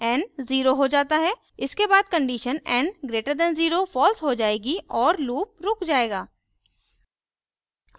n zero हो जाता है इसके बाद condition n greater than 0 false हो जायेगी और loop रुक जाएगा